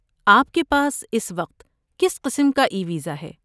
آپ کے پاس اس وقت کس قسم کا ای ویزا ہے؟